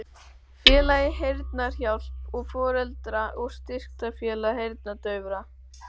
Félagið Heyrnarhjálp og Foreldra- og styrktarfélag heyrnardaufra